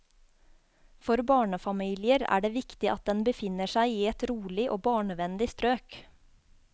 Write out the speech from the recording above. For barnefamilier er det viktig at den befinner seg i et rolig og barnevennlig strøk.